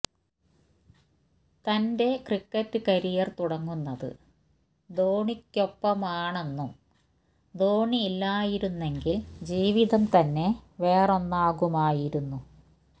തന്റെ cricket career തുടങ്ങുന്നത് ധോണിക്കൊപ്പമാണെന്നും ധോണി ഇല്ലായിരുന്നെങ്കിൽ ജീവിതം തന്നെ വേറൊന്നാകുമായിരുന്നു